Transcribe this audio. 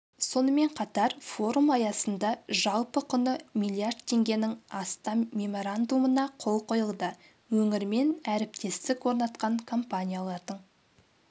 сонымен қатар форум аясында жалпы құны миллиард теңгенің астам меморандумына қол қойылды өңірмен әріптестік орнатқан компаниялардың